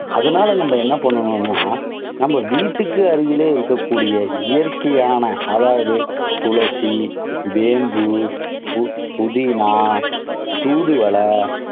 அதனால நம்ம என்ன பண்ணனும்னா, நம்ம வீட்டுக்கு அருகிலேயே இருக்கக்கூடிய இயற்கையான அதாவது துளசி, வேம்பு, புதினா, தூதுவளை,